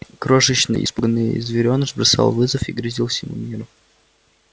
крошечный испуганный зверёныш бросал вызов и грозил всему миру